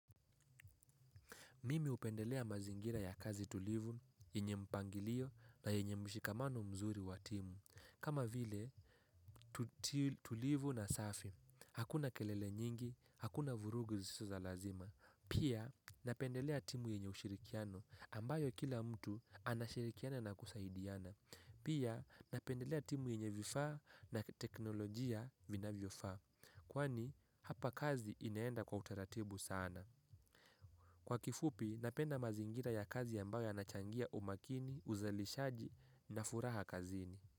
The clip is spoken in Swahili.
Mimi hupendelea mazingira ya kazi tulivu, yenye mpangilio na yenye mshikamano mzuri wa timu. Kama vile, tulivu na safi, hakuna kelele nyingi, hakuna vurugu zisizo za lazima. Pia, napendelea timu yenye ushirikiano ambayo kila mtu anashirikiana na kusaidiana. Pia, napendelea timu yenye vifaa na teknolojia vinavyofaa. Kwani, hapa kazi inaenda kwa utaratibu sana. Kwa kifupi, napenda mazingira ya kazi ambayo yanachangia umakini, uzalishaji na furaha kazini.